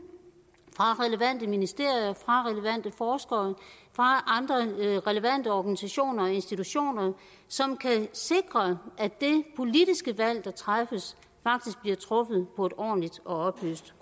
fra relevante ministerier fra relevante forskere fra andre relevante organisationer og institutioner som kan sikre at det politiske valg der træffes faktisk bliver truffet på et ordentligt og oplyst